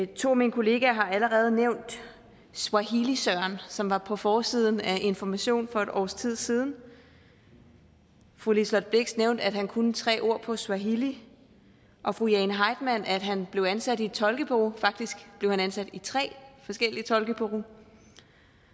to af mine kollegaer har allerede nævnt swahili søren som var på forsiden af information for et års tid siden fru liselott blixt nævnte at han kunne tre ord på swahili og fru jane heitmann nævnte at han blev ansat i et tolkebureau faktisk blev han ansat i tre forskellige tolkebureauer